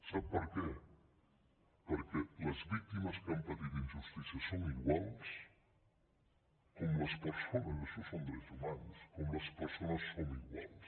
sap per què perquè les víctimes que han patit injustícia són iguals com les persones això són drets humans som iguals